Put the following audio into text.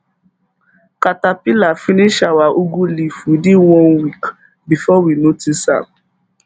caterpillar finish our ugwu leaf within one week before we notice am